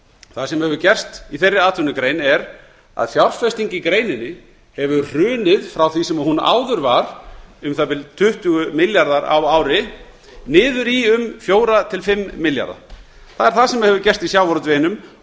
það sem hefur gerst í þeirri atvinnugrein er að fjárfesting í greininni hefur hrunið frá því sem hún áður var um það bil tuttugu milljarðar á ári niður í um fjögur til fimm milljarða það er það sem hefur gerst í sjávarútveginum